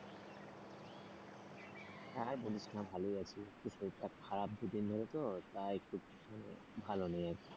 আর বলিস না ভালই আছি, শরীরটা খারাপ দুদিন ধরে তো তাই একটু ভালো নেই আর কি।